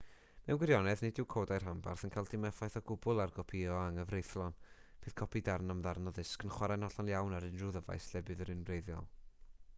mewn gwirionedd nid yw codau rhanbarth yn cael dim effaith o gwbl ar gopïo anghyfreithlon bydd copi darn am ddarn o ddisg yn chwarae'n hollol iawn ar unrhyw ddyfais lle bydd yr un wreiddiol